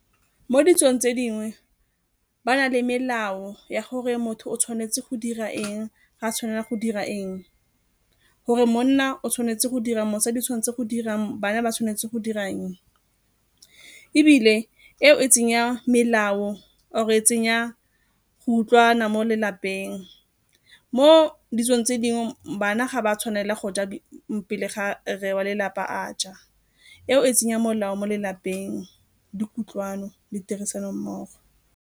Mo ditsong tse dingwe ba na le melao ya gore motho o tshwanetse go dira eng, ga a tshwanela go dira eng, gore monna o tshwanetse go dira eng, mosadi o tshwanetse go dira eng bana ba tshwanetse go dira eng. Ebile eo e tsenya melao or-e e tsenya go utlwana mo lelapeng. Mo ditsong tse dingwe bana ga ba tshwanela go ja mo pele ga rre wa lelapa a ja, eo e tsenya molao mo lelapeng le kutlwano le tirisanommogo.